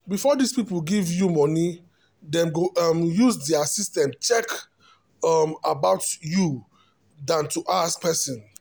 before this people give you moni them go um use their system check um about youthan to ask person